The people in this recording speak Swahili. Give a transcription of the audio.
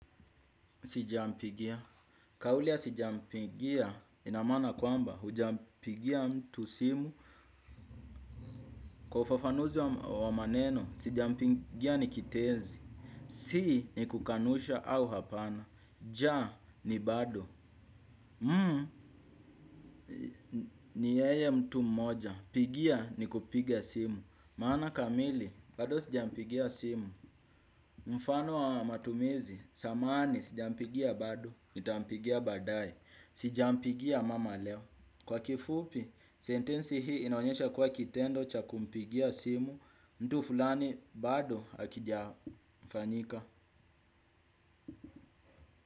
Sijampigia, kauli ya sijampigia inamaana kwamba hujampigia mtu simu. Kwa ufafanuzi wa maneno, sijampigia ni kitenzi. Si ni kukanusha au hapana, ja ni bado Muu, ni yeye mtu moja, pigia ni kupiga simu. Maana kamili, bado sijampigia simu. Mfano wa matumizi, samahani sijampigia bado, nitampigia baadae. Sijampigia mama leo. Kwa kifupi sentensi hii inaonyesha kwa kitendo cha kumpigia simu mtu fulani bado hakija fanyika.